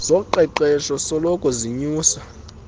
zoqeqeshpo soloko zinyusa